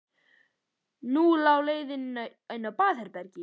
Og nú lá leiðin inn á baðherbergið!